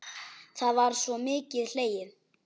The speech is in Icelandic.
Þá var sko mikið hlegið.